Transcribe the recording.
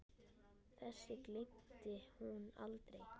Þessu gleymdi hún aldrei.